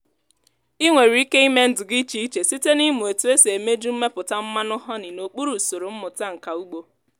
ị nwere ike ime ndụ gị iche iche site n’ịmụ otu esi emeju mmepụta mmanụ honey n’okpuru usoro mmụta nka ugbo.